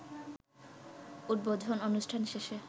উদ্বোধন অনুষ্ঠান শেষে